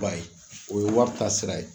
Ba ye , o ye wari taa sira ye.